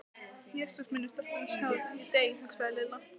Jesús minn ef stelpurnar sjá þetta, ég dey. hugsaði Lilla.